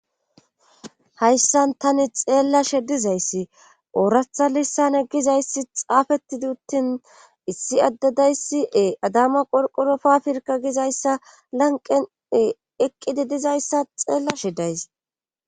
Hayssan tani xeella shedizayssi ooratha lissan egizayssi xaafettiduttin issi addadayssiee adama qorqorofafirka gizayssa lanqene eqqidi dizayssa xeella shidays